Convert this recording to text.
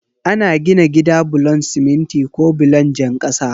Ana gina gida bulon siminti ko bulon jan kasa.